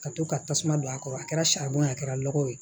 Ka to ka tasuma don a kɔrɔ a kɛra saribɔn ye a kɛra lɔgɔ ye